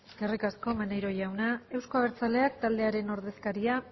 eskerrik asko maneiro jauna euzko abertzaleak taldearen ordezkaria